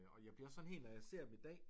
Og jeg bliver også sådan helt når jeg ser dem i dag